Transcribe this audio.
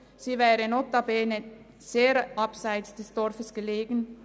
Sie wäre notabene sehr abseits des Dorfes gelegen.